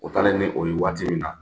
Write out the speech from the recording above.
O taalen ni o ye waati min na